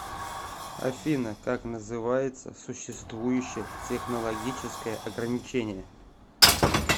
афина как называется существующее технологическое ограничение